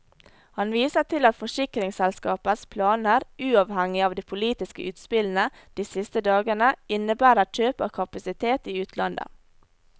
Han viser til at forsikringsselskapets planer, uavhengig av de politiske utspillene de siste dagene, innebærer kjøp av kapasitet i utlandet.